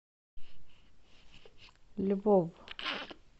львов